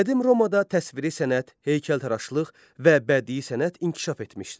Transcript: Qədim Romada təsviri sənət, heykəltaraşlıq və bədii sənət inkişaf etmişdi.